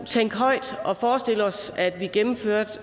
tænke højt og forestille os at vi gennemførte